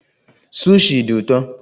Sushi dị ụtọ